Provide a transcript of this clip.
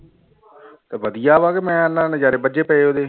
ਤੇ ਵਧੀਆ ਵਾ ਕਿ ਮੈਂ ਨਾ ਨਜ਼ਾਰੇ ਬੱਝੇ ਪਏ ਉਹਦੇ